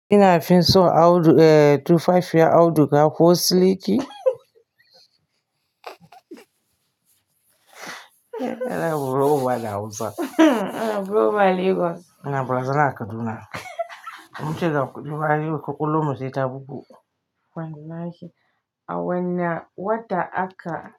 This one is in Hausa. Ina fin so audu eh tufafiyar auduga ko siliki? Ana bura'uba da Hausa. Eh bura'uba Lagos. Ana bazara a kaduna. Mun ce ga kuɗi ma yau ƙwaƙwalwarmu sai ta bugu. Wallahi. A wanne wata aka.